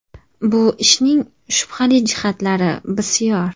Bu ishning shubhali jihatlari bisyor.